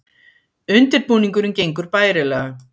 Undirbúningurinn gengur bærilega